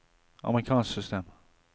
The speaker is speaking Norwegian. amerikansk system